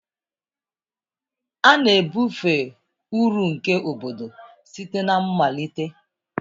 A na-ebufe uru nke obodo site na mmalite.